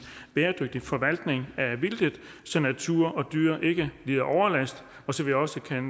bæredygtig forvaltning af vildtet så natur og dyr ikke lider overlast og så vi også kan